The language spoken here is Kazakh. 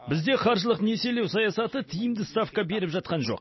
бізде қаржылық несиелеу саясаты тиімді ставка беріп жатқан жоқ